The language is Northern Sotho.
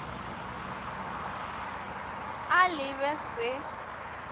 a le b e se